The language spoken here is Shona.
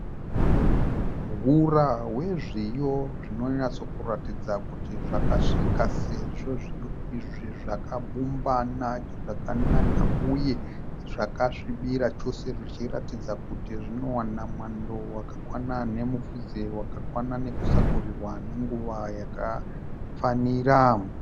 Hura hwezviyo zvinonyatsokuratidza kuti zvakasvika sezvo zviyo izvi zvakabumbana zvakanaka uye zvakasvibira chose zvichiratidza kuti zvinowana mwando wakakwana nemufudze wakakwana nekusakurirwa nenguva yakafanira.